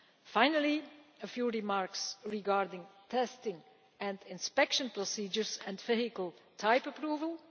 Finally, a few remarks regarding testing and inspection procedures and vehicle type approval.